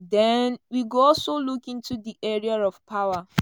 den we go also look into di area of power."